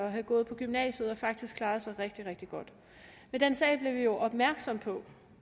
og havde gået på gymnasiet og faktisk klaret sig rigtig rigtig godt med den sag blev vi jo opmærksomme på